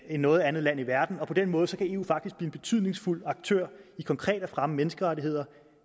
noget andet land i verden og på den måde kan eu faktisk blive en betydningsfuld aktør i konkret at fremme menneskerettighederne